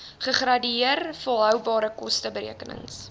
gradeer volhoubare kosteberekenings